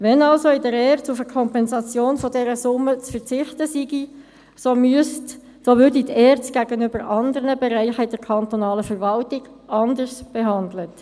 Wenn also in der ERZ auf eine Kompensation dieser Summe zu verzichten sei, so würde die ERZ gegenüber anderen Bereichen in der kantonalen Verwaltung anders behandelt.